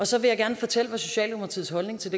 så vil jeg gerne fortælle hvad socialdemokratiets holdning til